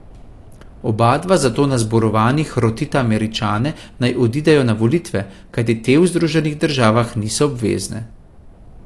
Obadva zato na zborovanjih rotita Američane, naj odidejo na volitve, kajti te v Združenih državah niso obvezne.